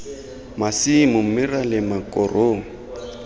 masimo mme ra lema korong